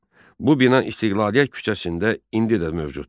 Bu bina İstiqlaliyyət küçəsində indi də mövcuddur.